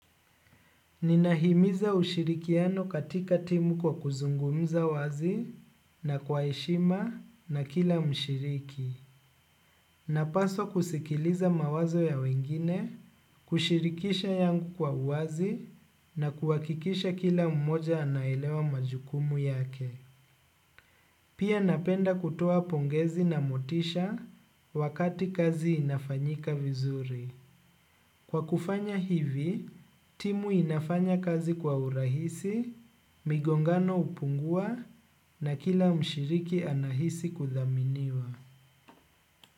Ninahimiza ushirikiano katika timu kwa kuzungumza wazi na kwa heshima na kila mshiriki. Napaswa kusikiliza mawazo ya wengine, kushirikisha yangu kwa uwazi na kuhakikisha kila mmoja anaelewa majukumu yake. Pia napenda kutoa pongezi na motisha wakati kazi inafanyika vizuri. Kwa kufanya hivi, timu inafanya kazi kwa urahisi, migongano hupungua na kila mshiriki anahisi kudhaminiwa.